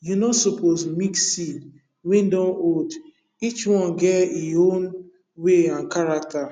you no suppose mix seed wey dun old each one get e own way and character